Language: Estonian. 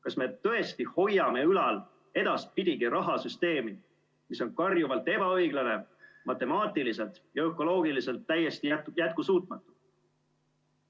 Kas me tõesti hoiame ülal edaspidigi rahasüsteemi, mis on karjuvalt ebaõiglane, matemaatiliselt ja ökoloogiliselt täiesti jätkusuutmatu?